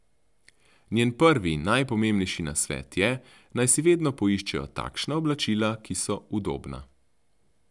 Njen prvi in najpomembnejši nasvet je, naj si vedno poiščejo takšna oblačila, ki so udobna.